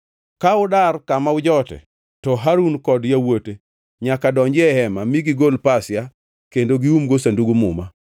Ka udar kama ujote, to Harun kod yawuote nyaka donji ei hema mi gigol pasia kendo giumgo Sandug Muma.